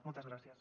moltes gràcies